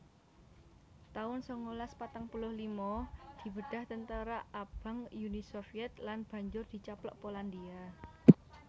taun sangalas patang puluh lima Dibedhah Tentara Abang Uni Sovyèt lan banjur dicaplok Polandia